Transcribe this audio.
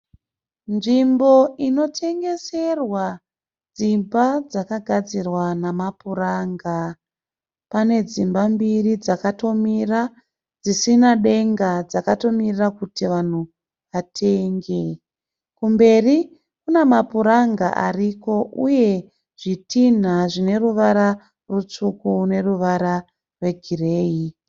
Nzvimbo inotengeserwa dzimba dzakāgadzirwa namapuranga. Pane dzimba mbiri dzakatomira dzisina denga dzakatomirira kuti vanhu vatenge. Kumberi Kuna mapuranga ariko uye zvitinha zvine ruwara rutsvuku ne ruwara rwe gireyi.